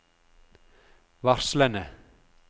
varslene